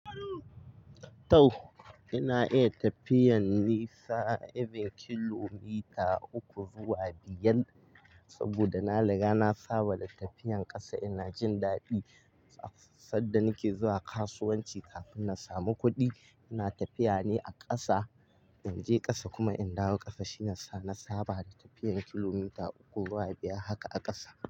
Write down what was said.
Tau ina iya tafiyan nisa even kilomita uku zuwa biyar saboda na riga na saba da tafiyan ƙasa, ina jin daɗi sadda nake zuwa kasuwanci kafin na samu kuɗi ina tafiya ne a ƙasa. Inje ƙasa kuma in dawo ƙasa shine na saba da tafiyan kilomita uku zuwa biyar haka a ƙasa.